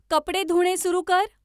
कपडे धुणे सुरू कर